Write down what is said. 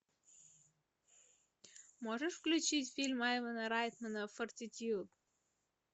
можешь включить фильм айвена райтмана фортитьюд